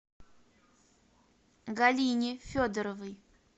галине федоровой